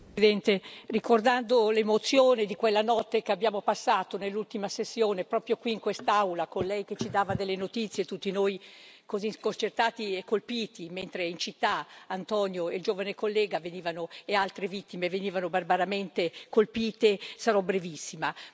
Signor Presidente, onorevoli colleghi, ricordando l'emozione di quella notte che abbiamo passato nell'ultima sessione, proprio qui in quest'Aula con Lei che ci dava delle notizie, a tutti noi così sconcertati e colpiti, mentre in città Antonio, il giovane collega e altre vittime venivano barbaramente colpite, sarò brevissima.